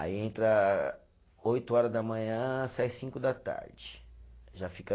Aí entra oito horas da manhã, sai cinco da tarde, já fica